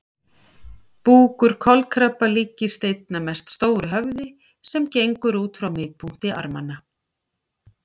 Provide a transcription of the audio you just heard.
Búkur kolkrabba líkist einna mest stóru höfði sem gengur út frá miðpunkti armanna.